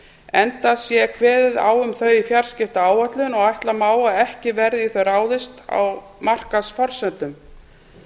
enda sé kveðið á um þau í fjarskiptaáætlun og ætla má að ekki verði í þau ráðist á markaðsforsendum